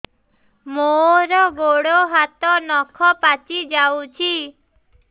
ମୋର ଗୋଡ଼ ହାତ ନଖ ପାଚି ଯାଉଛି